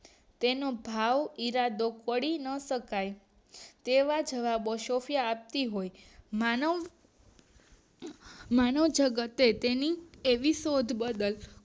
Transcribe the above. તેનો ભાવ ઈરાદો તોડી ન શકાય તેવા જવાબો સોફયા આપતી હોય છે માનવ માનવ જગતે તેની શોધ બદલ